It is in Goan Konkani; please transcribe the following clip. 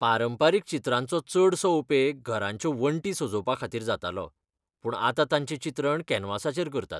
पारंपारीक चित्रांचो चडसो उपेग घरांच्यो वण्टीं सजोवपा खातीर जातालो, पूण आतां तांचें चित्रण कॅनव्हासाचेर करतात.